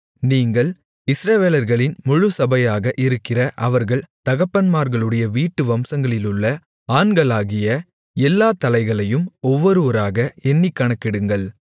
நீங்கள் இஸ்ரவேலர்களின் முழுச்சபையாக இருக்கிற அவர்கள் தகப்பன்மார்களுடைய வீட்டு வம்சங்களிலுள்ள ஆண்களாகிய எல்லா தலைகளையும் ஒவ்வொருவராக எண்ணிக் கணக்கெடுங்கள்